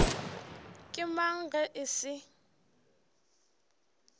ke mang ge e se